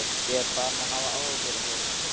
Ég var farinn að hafa áhyggjur af þér.